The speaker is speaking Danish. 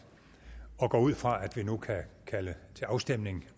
jeg går ud fra at vi nu kan kalde til afstemning